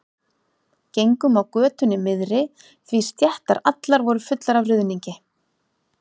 Gengum á götunni miðri því stéttar allar voru fullar af ruðningi.